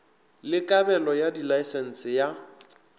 le kabelo ya dilaesense ya